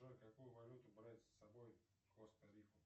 джой какую валюту брать с собой в коста рику